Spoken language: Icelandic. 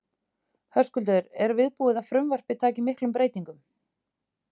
Höskuldur, er viðbúið að frumvarpið taki miklum breytingum?